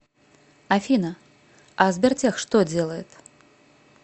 афина а сбертех что делает